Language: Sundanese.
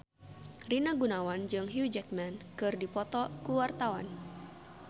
Rina Gunawan jeung Hugh Jackman keur dipoto ku wartawan